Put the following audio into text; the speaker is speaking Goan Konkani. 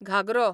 घागरो